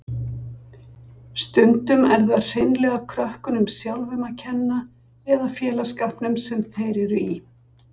Stundum er það hreinlega krökkunum sjálfum að kenna eða félagsskapnum sem þeir eru í.